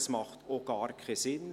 Das ergibt auch gar keinen Sinn.